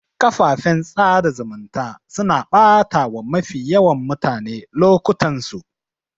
Kafafen sada zumunta suna batawa mafi yawan mutane lokutansu